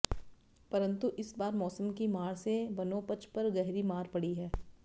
परन्तु इस बार मौसम की मार से वनोपज पर गहरी मार पड़ी है